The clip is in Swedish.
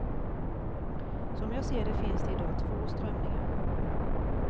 Som jag ser det finns idag två strömningar.